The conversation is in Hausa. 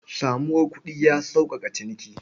Samuwar kuɗi ya sauƙaƙa ciniki.